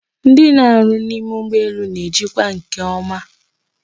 Ndị na-arụ n'ime ụgbọelu na-ejikwa nke ọma